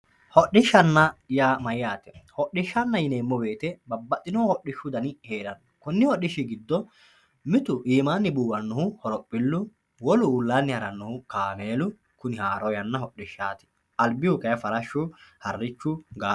hodhishshanna yaa mayaate hodhishshanna yineemo woyiite babbaxino hodhishshu dani heeranno konni hodhishshi gido mitu imaanni buuwanno horophillu ullaanni harannohu kaameelu haaro yanna hodhishshaati albihu kayi farashshu, harrichu, gaango.